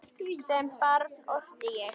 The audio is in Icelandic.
Sem barn orti ég.